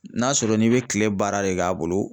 N'a sɔrɔ n'i be kile baara de k'a bolo